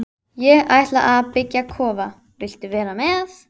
Hvar munuð þið leika heimaleiki ykkar?